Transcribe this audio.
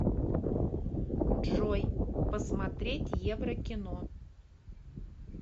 джой посмотреть еврокино